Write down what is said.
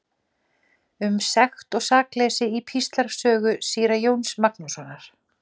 Um sekt og sakleysi í Píslarsögu síra Jóns Magnússonar.